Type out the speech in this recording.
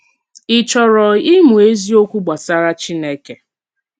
Ì chòrò ìmù èzìòkwù gbasàrà Chínèkè?